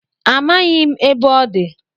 Amaghị m ebe ọ dị